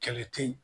Kɛlɛ te ye